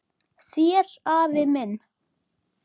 Þér afi minn.